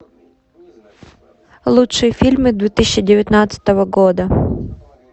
лучшие фильмы две тысячи девятнадцатого года